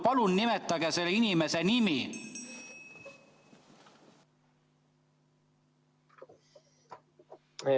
Palun nimetage selle inimese nimi!